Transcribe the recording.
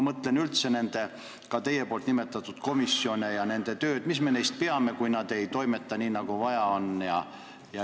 Kõik need teie nimetatud komisjonid – mis me neist peame, kui nad ei toimeta nii, nagu vaja oleks?